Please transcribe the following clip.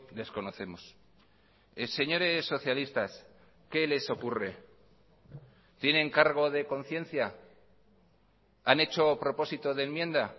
desconocemos señores socialistas qué les ocurre tienen cargo de conciencia han hecho propósito de enmienda